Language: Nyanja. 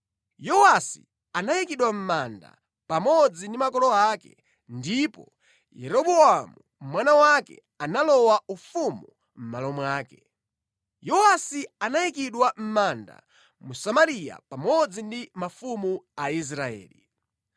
Yowasi anayikidwa mʼmanda pamodzi ndi makolo ake ndipo Yeroboamu mwana wake analowa ufumu mʼmalo mwake. Yowasi anayikidwa mʼmanda mu Samariya pamodzi ndi mafumu a Israeli.